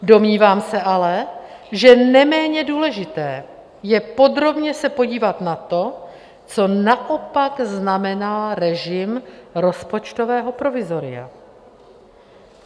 Domnívám se ale, že neméně důležité je podrobně se podívat na to, co naopak znamená režim rozpočtového provizoria.